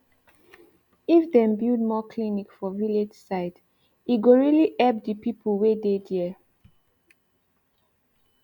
if dem build more clinic for village side e go reli epp d pipu wey dey dere